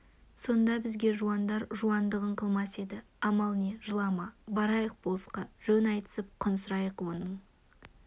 сонда бізге жуандар жуандығын қылмас еді амал не жылама барайық болысқа жөн айтысып құн сұрайық оның